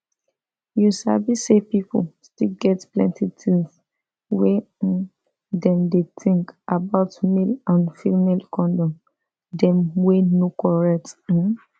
you sef sabi say pipu still get plenty things wey um dem dey think about male and female condom dem wey no correct um